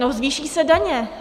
No - zvýší se daně.